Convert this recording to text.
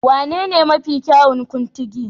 Wanene mafi kyawun Kuntigi?